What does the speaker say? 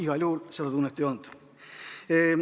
Igal juhul seda tunnet ei olnud.